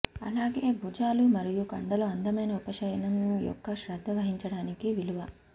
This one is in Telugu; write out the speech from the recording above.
అలాగే భుజాలు మరియు కండలు అందమైన ఉపశమనం యొక్క శ్రద్ధ వహించడానికి విలువ